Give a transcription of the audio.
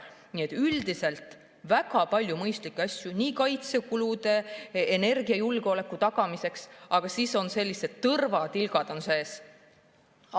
Üldiselt on väga palju mõistlikke asju, näiteks kaitsekulude ja energiajulgeoleku tagamiseks, aga on ka sellised tõrvatilgad sees.